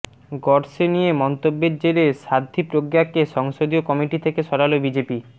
গডসে নিয়ে মন্তব্যের জেরে সাধ্বী প্রজ্ঞাকে সংসদীয় কমিটি থেকে সরাল বিজেপি